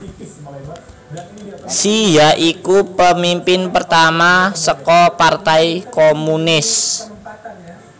Xi ya iku pemimpin pertama saka partai komunis